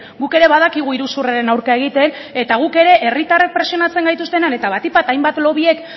guk ere badakigu iruzurraren aurka egiten eta guk ere herritarrek presionatzen gaituztenean eta batik bat hainbat lobbyek